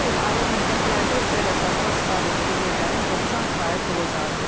Bu il ali məktəblərdə özəl əsaslı sifarişli yerlərin 90% olacağı gözlənilir.